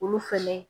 Olu fɛnɛ